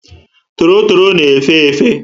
Torotoro na efe efe